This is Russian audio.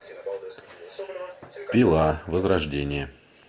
пила возрождение